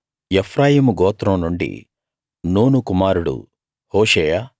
ఎఫ్రాయిము గోత్రం నుండి నూను కుమారుడు హోషేయ